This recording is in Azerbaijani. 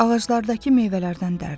Ağaclardakı meyvələrdən dərdi.